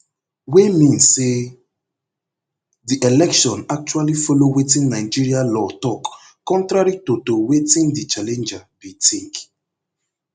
wey mean say di election actually follow wetin nigeria law tok contrary to to wetin di challenger bi tink